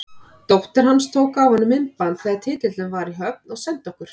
Dóttir hans tók af honum myndband þegar titillinn var í höfn og sendi okkur.